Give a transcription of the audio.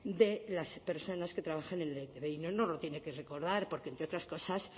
de las personas que trabajan en la e i te be y no nos lo tiene que recordar porque entre otras cosas